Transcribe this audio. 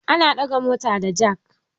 Ana ɗaga mota da jak